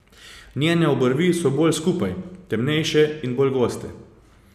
Njene obrvi so bolj skupaj, temnejše in bolj goste.